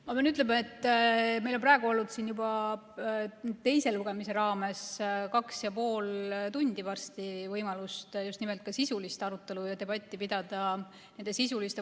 Ma pean ütlema, et meil on praegu olnud siin teise lugemise raames varsti juba kaks ja pool tundi olnud võimalus nende valikute üle just nimelt sisulist arutelu ja debatti pidada.